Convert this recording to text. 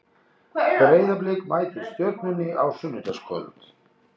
Breiðablik mætir Stjörnunni á sunnudagskvöld.